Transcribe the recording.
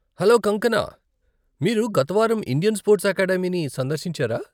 Hello Kangkana, మీరు గత వారం ఇండియన్ స్పోర్ట్స్ అకాడమీని సందర్శించారా?